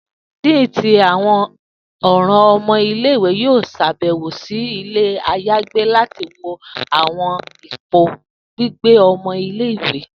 Dean ti Awọn ọran ọmọ ile-iwe yoo ṣabẹwo si ile ayagbe lati wo awọn ipo gbigbe ọmọ ile-iwe.